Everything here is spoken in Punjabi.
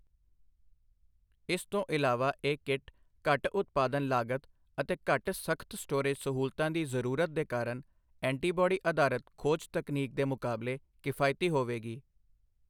ਇਸ ਤੋਂ ਇਲਾਵਾ ਇਹ ਕਿੱਟ ਘੱਟ ਉਤਪਾਦਨ ਲਾਗਤ ਅਤੇ ਘੱਟ ਸਖਤ ਸਟੋਰੇਜ ਸਹੂਲਤਾਂ ਦੀ ਜ਼ਰੂਰਤ ਦੇ ਕਾਰਨ ਐਂਟੀਬੌਡੀ ਅਧਾਰਤ ਖੋਜ ਤਕਨੀਕ ਦੇ ਮੁਕਾਬਲੇ ਕਿਫਾਇਤੀ ਹੋਵੇਗੀ।